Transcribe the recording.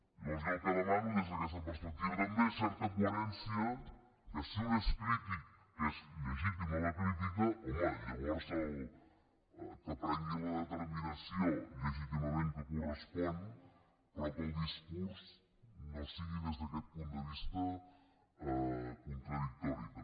llavors jo el que demano des d’aquesta perspectiva també és certa coherència que si un és crític que és legítima la crítica home llavors que prengui la determinació legítimament que correspon però que el discurs no sigui des d’aquest punt de vista contradictori també